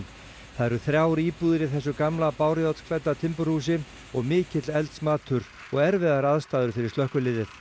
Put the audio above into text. það eru þrjár íbúðir í þessu gamla timburhúsi og mikill eldsmatur og erfiðar aðstæður fyrir slökkviliðið